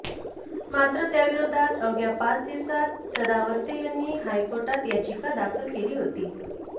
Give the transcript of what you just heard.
मात्र त्याविरोधात अवघ्या पाच दिवसात सदावर्ते यांनी हायकोर्टात याचिका दाखल केली होती